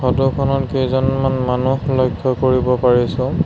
Photo খনত কেইজনমান মানুহ লক্ষ্য কৰিব পাৰিছোঁ।